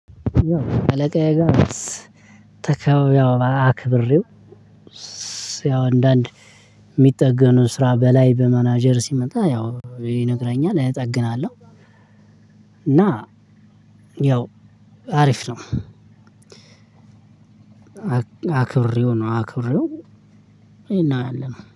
አለቃዬ ጋ ስ ተከው አክብሬው ያው አንዳንድ የሚጠገኑ ስራ በላይ በመናጀር ሲመጣ ያው ይነግረኛል እጠግናለሁ። እና ያው አሪፍ ነው። አክብሬው ነው አክብሬው ይሄን ያህልም